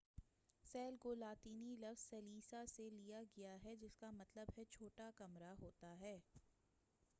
cell کو لاطینی لفظ سیلیا سے لیا گیا ہے جس کا مطلب چھوٹا کمرہ ہوتا ہے